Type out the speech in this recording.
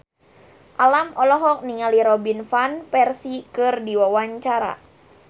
Alam olohok ningali Robin Van Persie keur diwawancara